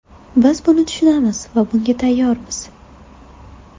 Biz buni tushunamiz va bunga tayyormiz.